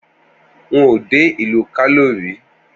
N ò dé ìlú Kano rí?